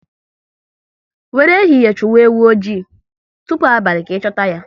Wéré ehihie chụwa ewu oji, tụpụ abalị ka ị chuta ya